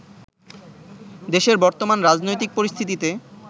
দেশের বর্তমান রাজনৈতিক পরিস্থিতিতে